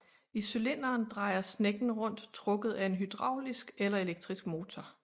I cylinderen drejer snekken rundt trukket af en hydraulisk eller elektrisk motor